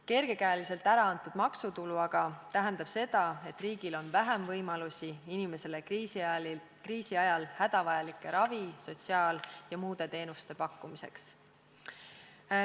Kergekäeliselt ära antud maksutulu aga tähendab seda, et riigil on vähem võimalusi pakkuda inimestele kriisi ajal hädavajalikke ravi-, sotsiaal- ja muid teenuseid.